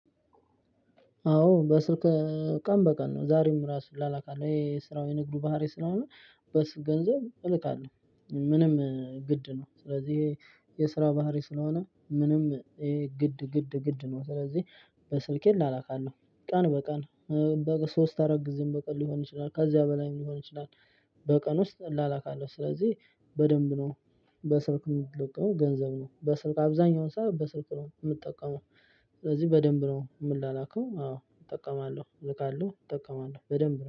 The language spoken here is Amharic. አዎ በስር ቀን በቀን ነው ዛሬም ራሱ እልካለሁ የስራው የንግዱ ባህሪ ስለሆነ። በስር ገንዘብ እልካለሁ ምንም ግድ ነው። ስለዚህ ይሄ የስራ ባህሪ ስለሆነ ምንም ይሄ ግድ ግድ ግድ ነው። ስለዚህ በስልኬ ላላክ አለው። ቀን በቀን በሶስት አራት ጊዜም በቀን ሊሆን ይችላል ከዚያ በላይም ሊሆን ይችላል። በቀን ውስጥ እላላካለሁ ስለዚህ በደንብ ነው። በስርክ የምትልክመው ገንዘብ ነው በስልክ አብዛኛውን ሰው በስልክ ነው የምጠቀመው። ስለዚህ በደንብ ነው የምንላክው። አዎ እጠቀማለሁ እልቃለሁ እጠቀማለሁ በደንብ